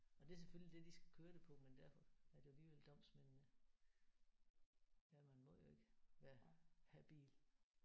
Og det er selvfølgelig det de skal køre det på men derfor er det jo alligevel domsmændene. Ja man må jo ikke være habil